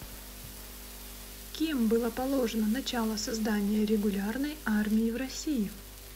кем было положено начало создания регулярной армии в россии